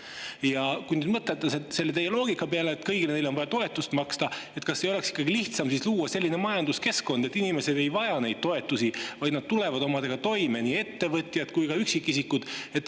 Ja kui nüüd mõelda selle teie loogika peale, et kõigile neile on vaja toetust maksta, siis kas ei oleks ikkagi lihtsam luua selline majanduskeskkond, kus inimesed ei vaja toetusi, kus kõik tulevad omadega toime, nii ettevõtjad kui ka üksikisikud?